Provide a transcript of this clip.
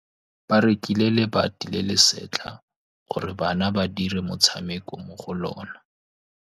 Ba rekile lebati le le setlha gore bana ba dire motshameko mo go lona.